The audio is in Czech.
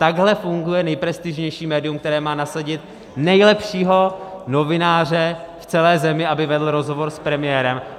Takhle funguje nejprestižnější médium, které má nasadit nejlepšího novináře v celé zemi, aby vedl rozhovor s premiérem?